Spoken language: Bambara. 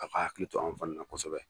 A ka hakili to anw fana na kosɛbɛ.